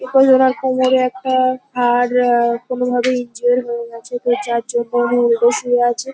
এবং ওনার কোমরে একটা হাড় আহ কোনোভাবে ইনজিওর্ড হয়ে গেছে দু চার জন বেড শুয়ে আছে।